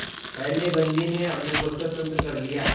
पहले बंदी ने अपने को स्वतंत्र कर लिया